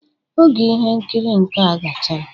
Oge ihe nkiri nkea gachara